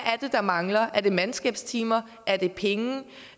der mangler er det mandskabstimer er det penge